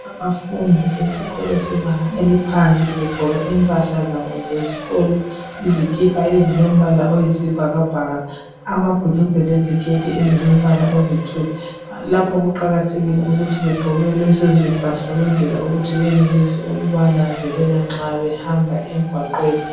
Abafundi besikolo sebanga eliphansi begqoke impahla zabo zesikolo, izikipa ezilombala oyisibhakabhaka, amabhulugwe leziketi ezilombala olithuli. Lapho kuqakathekile ukuthi begqoke lezo zimpahla ukuwenzela ukuthi benelise ukubananzelela nxa behamba emgwaqweni.